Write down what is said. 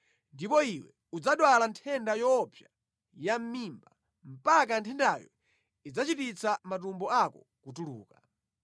Ndipo iwe udzadwala nthenda yoopsa yamʼmimba, mpaka nthendayo idzachititsa matumbo ako kutuluka.’ ”